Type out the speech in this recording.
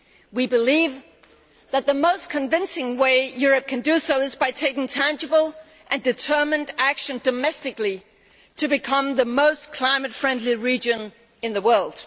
We believe that the most convincing way Europe can do so is by taking tangible and determined action domestically to become the most climate friendly region in the world.